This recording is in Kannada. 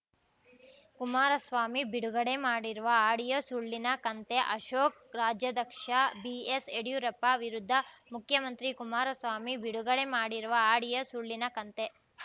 ಕುಮಾರಸ್ವಾಮಿ ಬಿಡುಗಡೆ ಮಾಡಿರುವ ಆಡಿಯೋ ಸುಳ್ಳಿನ ಕಂತೆ ಅಶೋಕ್‌ ರಾಜ್ಯಾಧ್ಯಕ್ಷ ಬಿಎಸ್‌ಯಡಿಯೂರಪ್ಪ ವಿರುದ್ಧ ಮುಖ್ಯಮಂತ್ರಿ ಕುಮಾರಸ್ವಾಮಿ ಬಿಡುಗಡೆ ಮಾಡಿರುವ ಆಡಿಯೋ ಸುಳ್ಳಿನ ಕಂತೆ